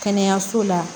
Kɛnɛyaso la